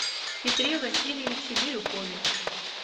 петре васильевиче бирюкове